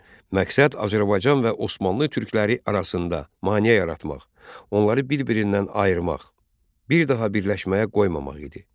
Məqsəd Azərbaycan və Osmanlı türkləri arasında maneə yaratmaq, onları bir-birindən ayırmaq, bir daha birləşməyə qoymamaq idi.